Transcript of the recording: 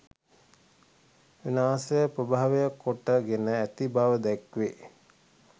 විනාශය ප්‍රභවය කොට ගෙන ඇති බව දැක්වේ.